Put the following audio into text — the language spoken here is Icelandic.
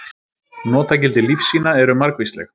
Notagildi lífsýna eru margvísleg.